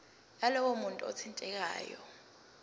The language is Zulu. yalowo muntu othintekayo